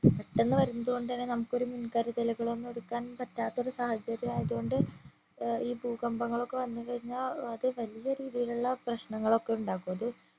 പെട്ടന്ന് വരുന്നത് കൊണ്ട് തന്നെ നമ്മക്ക് ഒരു മുൻ കരുതലുകളൊന്നും എടുക്കാൻ പറ്റാത്തൊരു സാഹചര്യം ആയതുകൊണ്ട് ഏർ ഈ ഭൂകമ്പങ്ങളൊക്കെ വന്നു കഴിഞ്ഞ അത് വല്യ രീതിയിലുള്ള പ്രശ്നങ്ങൾ ഒക്കെ ഉണ്ടാകൂ അത്